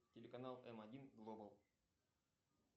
телеканал м один глобал